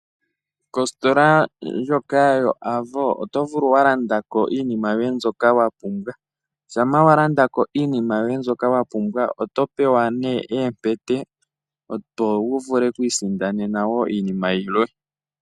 Kostola ndjoka yoAvo oto vulu walandako iinima yoye mbyoka wapumbwa, shampa wa landako iinima yoye ndjoka wapumbwa oto pewa ne empete opo wu vule okwiisindanena wo iinima yilwe.